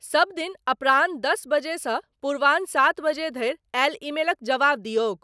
सभदिन अपराह्न दस बजे सँ पूर्वाह्न सात बजे धरि आयल ईमेलक जबाब दियौक।